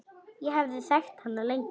Ég hafði þekkt hana lengi.